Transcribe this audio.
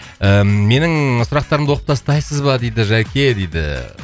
ііі менің сұрақтарымды оқып тастайсыз ба дейді жәке дейді